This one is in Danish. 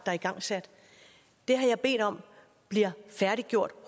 er igangsat det har jeg bedt om bliver færdiggjort